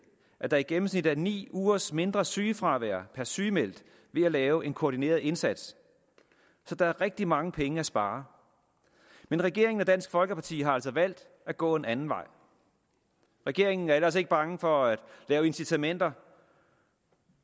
at der i gennemsnit er ni ugers mindre sygefravær per sygemeldt ved at lave en koordineret indsats så der er rigtig mange penge at spare men regeringen og dansk folkeparti har altså valgt at gå en anden vej regeringen er ellers ikke bange for at lave incitamenter